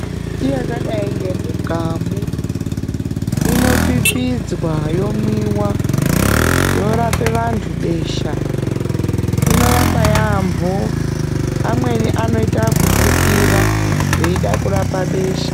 Mimbiti yakadai nemugamu inopipidzwa yomwiwa yorapa vantu besha inorapa yampho vamweni vanoita wekufukira veida kurapa besha.